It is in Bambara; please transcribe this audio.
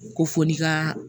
Ko fo n'i ka